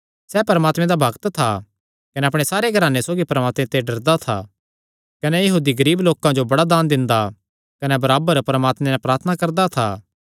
सैह़ परमात्मे दा भक्त था कने अपणे सारे घराने सौगी परमात्मे ते डरदा था कने यहूदी गरीब लोकां जो बड़ा दान दिंदा कने बराबर परमात्मे नैं प्रार्थना करदा था